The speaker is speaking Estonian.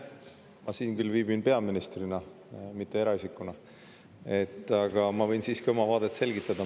Ma siin küll viibin peaministrina, mitte eraisikuna, aga ma võin siiski oma vaadet selgitada.